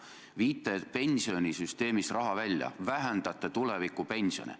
Te viite pensionisüsteemist raha välja, vähendate tulevikupensione.